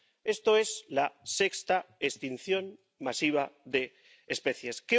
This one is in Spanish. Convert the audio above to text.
Esto es la sexta extinción masiva de especies.